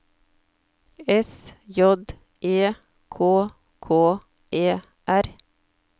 S J E K K E R